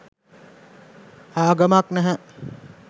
ආගමක් නැහැ